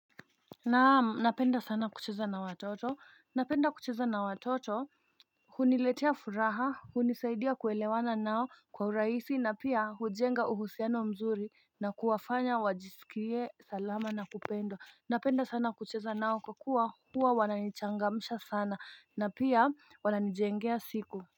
Naam napenda sana kucheza na watoto napenda kucheza na watoto. Huniletea furaha hunisaidia kuelewana nao kwa uraisi na pia hujenga uhusiano mzuri na kuwafanya wajisikie salama na kupendo Napenda sana kucheza nao kwa kuwa huwa wananichangamisha sana na pia wananijengea siku.